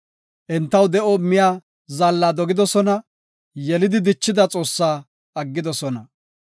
Entaw de7o immiya Zaalla dogidosona; yelidi dichida Xoossa aggidosona.